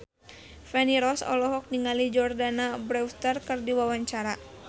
Feni Rose olohok ningali Jordana Brewster keur diwawancara